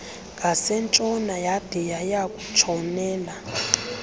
ngasentshona yade yayakutshonela